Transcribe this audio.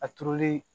A turuli